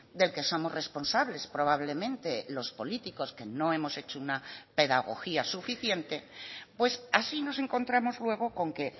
del que somos responsables probablemente los políticos que no hemos hecho una pedagogía suficiente pues así nos encontramos luego con que